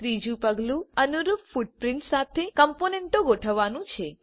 ત્રીજુ પગલું અનુરૂપ ફૂટપ્રિન્ટ્સ સાથે કમ્પોનન્ટો ગોઠવવાનું છે